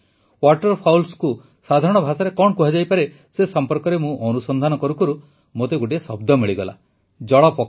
ୱାଟରଫାଉଲ୍ସକୁ ସାଧାରଣ ଭାଷାରେ କଣ କୁହାଯାଇପାରେ ସେ ସମ୍ପର୍କରେ ମୁଁ ଅନୁସନ୍ଧାନ କରୁ କରୁ ମୋତେ ଗୋଟିଏ ଶବ୍ଦ ମିଳିଲା ଜଳପକ୍ଷୀ